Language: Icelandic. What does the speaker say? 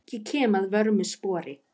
Ég kem að vörmu spori.